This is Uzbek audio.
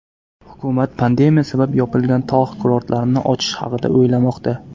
Hukumat pandemiya sabab yopilgan tog‘ kurortlarini ochish haqida o‘ylamoqda.